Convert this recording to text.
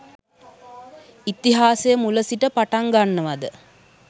ඉතිහාසය මුල සිට පටන්ගන්නවද